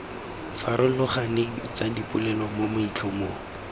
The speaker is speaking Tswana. farologaneng tsa dipolelo mo maitlhomong